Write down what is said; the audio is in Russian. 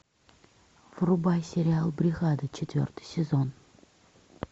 врубай сериал бригада четвертый сезон